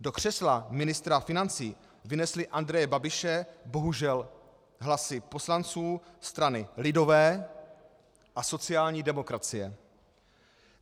Do křesla ministra financí vynesly Andreje Babiše bohužel hlasy poslanců strany lidové a sociální demokracie.